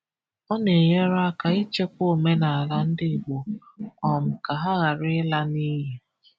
Ọ na-enyere aka ichekwa omenala ndị Igbo um ka ha ghara ịla n’iyi.